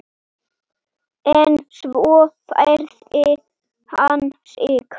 En svo færði hann sig.